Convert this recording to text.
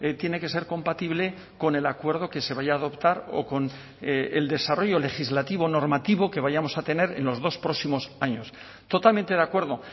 tiene que ser compatible con el acuerdo que se vaya a adoptar o con el desarrollo legislativo o normativo que vayamos a tener en los dos próximos años totalmente de acuerdo